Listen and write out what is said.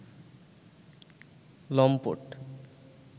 লম্পট